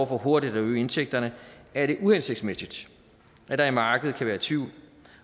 for hurtigt at øge indtægterne er det uhensigtsmæssigt at der i markedet kan være tvivl